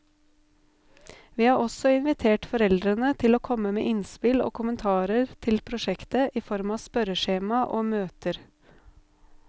Vi har også invitert foreldrene til å komme med innspill og kommentarer til prosjektet i form av spørreskjema og møter.